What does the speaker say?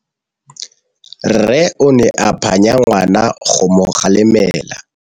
Rre o ne a phanya ngwana go mo galemela.